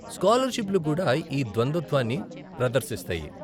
స్కాలర్షిప్లు కూడా ఈ ద్వంద్వత్వాన్ని ప్రదర్శిస్తాయి.